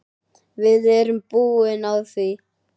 Við erum búin á því.